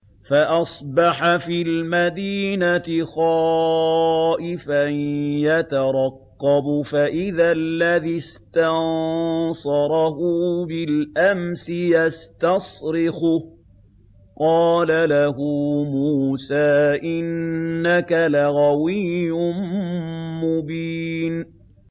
فَأَصْبَحَ فِي الْمَدِينَةِ خَائِفًا يَتَرَقَّبُ فَإِذَا الَّذِي اسْتَنصَرَهُ بِالْأَمْسِ يَسْتَصْرِخُهُ ۚ قَالَ لَهُ مُوسَىٰ إِنَّكَ لَغَوِيٌّ مُّبِينٌ